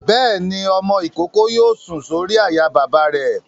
Bẹ́ẹ̀ni, ọmọ-ìkókó yóò sùn sórí àyà bàbá rẹ̀